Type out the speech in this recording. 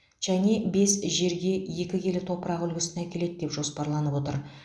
чанъэ бес жерге екі келі топырақ үлгісін әкеледі деп жоспарланып отыр